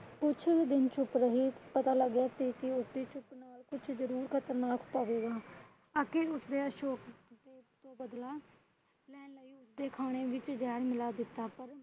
ਕੁਛ ਦਿਨ ਚੁੱਪ ਰਹੀ ਪਤਾ ਲੱਗ ਗਿਆ ਸੀ ਕਿ ਉਸਦੀ ਚੁੱਪ ਨਾਲ ਕੁਝ ਜਰੂਰ ਖ਼ਤਰਨਾਕ ਤਾਂ ਹੋਗਾ। ਤਾਕਿ ਉਸਨੇ ਅਸ਼ੋਕ ਤੋਂ ਬਦਲਾ ਲੈਣ ਲਈ ਅਸ਼ੋਕ ਦੇ ਖਾਨੇ ਵਿੱਚ ਜਹਿਰ ਮਿਲਾ ਦਿੱਤਾ